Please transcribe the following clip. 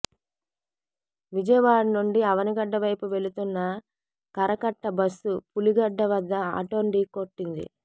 విజయవాడ నుండి అవనిగడ్డ వైపు వెళుతున్న కరకట్ట బస్సు పులిగడ్డ వద్ద ఆటోను ఢీకొట్టింది